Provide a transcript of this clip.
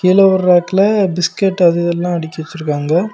கீழ ஒரு ராக்ல பிஸ்கட் அது இதெல்லாம் அடுக்கி வச்சிருக்காங்க.